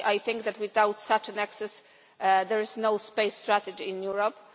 I think that without such an access there is no space strategy in Europe.